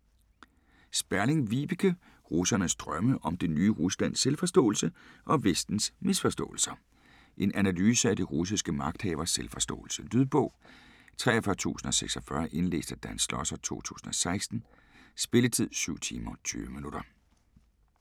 Sperling, Vibeke: Russernes drømme: om det nye Ruslands selvforståelse - og Vestens misforståelser En analyse af de russiske magthaveres selvforståelse. Lydbog 43046 Indlæst af Dan Schlosser, 2016. Spilletid: 7 timer, 20 minutter.